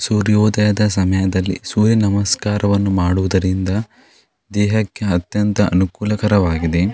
ಸೂರ್ಯೋದಯದ ಸಮಯದಲ್ಲಿ ಸೂರ್ಯ ನಮಸ್ಕಾರವನ್ನು ಮಾಡುವುದರಿಂದ ದೇಹಕ್ಕೆ ಅತ್ಯಂತ ಅನುಕೂಲಕರವಾಗಿದೆ.